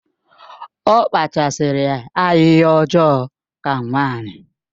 Ọ kpachasiri ahịhịa ọjọọ ka nwanyi